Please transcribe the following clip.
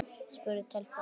spurði telpan.